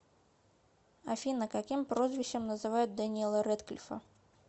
афина каким прозвищем называют дэниела рэдклифа